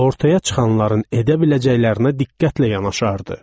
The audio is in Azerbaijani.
Ortaya çıxanların edə biləcəklərinə diqqətlə yanaşardı.